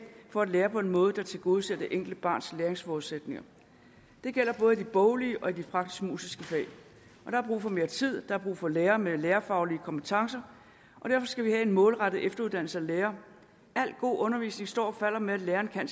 for at lære på en måde der tilgodeser det enkelte barns læringsforudsætninger det gælder både i de boglige og i de praktisk musiske fag der er brug for mere tid der er brug for lærere med lærerfaglige kompetencer derfor skal vi have en målrettet efteruddannelse af lærerne al god undervisning står og falder med at lærerne kan